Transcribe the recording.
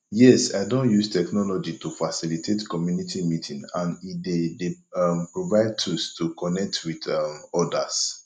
yes i don use technology to facilitate community meeting and e dey dey um provide tools to connect with um odas